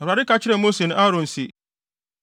Awurade ka kyerɛɛ Mose ne Aaron se,